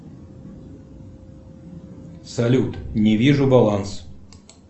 салют не вижу баланс